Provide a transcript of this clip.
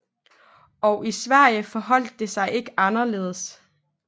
Og i Sverige forholdt det sig ikke anderledes